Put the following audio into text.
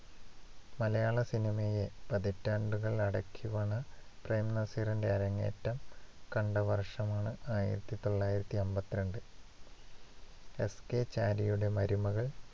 മലയാളസിനിമയെ പതിറ്റാണ്ടുകൾ അടക്കിവാണ പ്രേം നസീറിന്റെ അരങ്ങേറ്റം കണ്ട വർഷമാണ് ആയിരത്തി തൊള്ളായിരത്തി അമ്പത്തിരണ്ട്. എസ്. കെ. ചാരിയുടെ മരുമകൾ